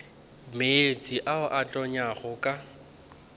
meetse a a tonyago ka